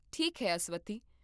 ਠੀਕ ਹੈ, ਅਸਵਥੀ